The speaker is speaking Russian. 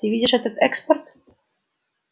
ты видишь этот эскорт